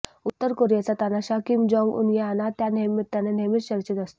उत्तर कोरियाचा तानाशाह किम जोंग उन या ना त्या निमित्ताने नेहमीच चर्चेत असतो